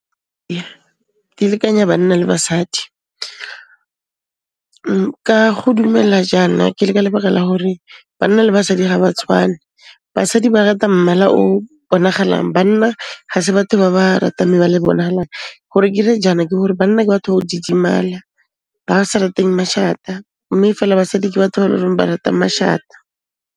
Di lekanya banna le basadi, ka go dumela jaana ke le ka lebegela gore banna le basadi ga ba tshwane. Basadi ba rata mmala o bonagalang. Banna ga se batho ba ba ratang mebala e bonagalang. Gore ke re jaana ke hore banna ke batho ba ho didimala. Ba sa rateng mashata, mme fela basadi ke batho ba e leng hore ba rata mashata.